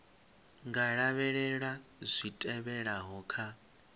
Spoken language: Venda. nga lavhelela zwi tevhelaho kha